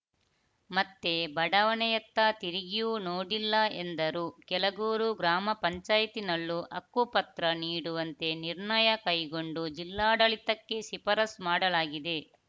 ಮತ್ತೆ ಬಡಾವಣೆಯತ್ತ ತಿರುಗಿಯೂ ನೋಡಿಲ್ಲ ಎಂದರು ಕೆಳಗೂರು ಗ್ರಾಮ ಪಂಚಾಯತ್ನಲ್ಲೂ ಹಕ್ಕುಪತ್ರ ನೀಡುವಂತೆ ನಿರ್ಣಯ ಕೈಗೊಂಡು ಜಿಲ್ಲಾಡಳಿತಕ್ಕೆ ಶಿಫಾರಸ್ ಮಾಡಲಾಗಿದೆ